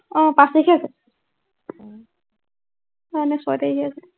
আহ পাঁচ তাৰিখে আছে। আহ নাই ছয় তাৰিখে আছে।